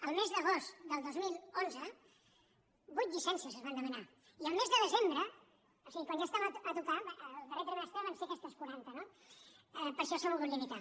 al mes d’agost del dos mil onze vuit llicències es van demanar i al mes de desembre o sigui quan ja es·tem a tocar en el darrer trimestre van ser aquestes qua·ranta no per això s’ha volgut limitar